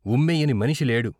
ఉమ్మెయ్యని మనిషి లేడు.